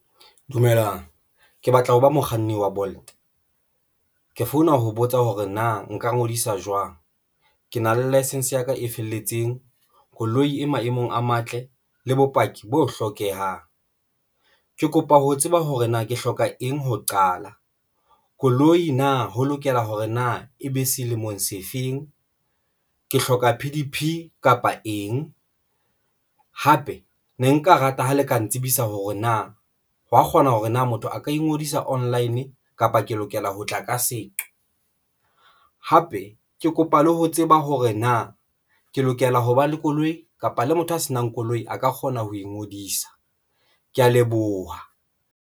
Dumelang ke batla ho ba mokganni wa Bolt ke founa ho botsa hore na nka ngodisa jwang. Ke na le license ya ka e felletseng koloi e maemong a matle le bopaki bo hlokehang. Ke kopa ho tseba hore na ke hloka eng ho qala koloi na ho lokela hore na e be selemong se feng ke hloka P_D_P kapa eng hape ne nka rata ha le ka ntsibisa hore na ho wa kgona hore na motho a ka ingodisa online kapa ke lokela ho tla ka seqo hape ke kopa le ho tseba hore na ke lokela hoba le koloi kapa le motho a se nang koloi a ka kgona ho ingodisa? Ke ya leboha.